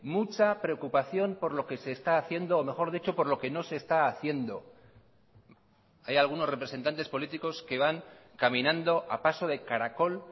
mucha preocupación por lo que se está haciendo o mejor dicho por lo que no se está haciendo hay algunos representantes políticos que van caminando a paso de caracol